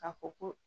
Ka fɔ ko